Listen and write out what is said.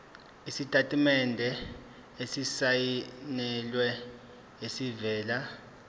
isitatimende esisayinelwe esivela